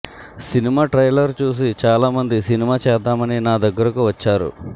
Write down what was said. trailer చూసి చాలా మంది సినిమా చేద్దామని నా దగ్గరకు వచ్చారు